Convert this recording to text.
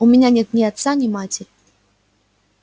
у меня нет ни отца ни матери